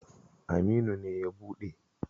Aminu ne ya buɗe.